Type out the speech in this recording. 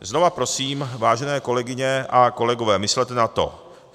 Znova prosím, vážené kolegyně a kolegové, myslete na to.